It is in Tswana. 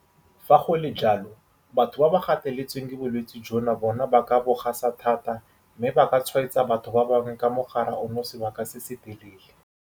Fa go le jalo, batho ba ba gateletsweng ke bolwetse jono bona ba ka bo gasa thata mme ba ka tshwaetsa batho ba bangwe ka mogare ono sebaka se se telele.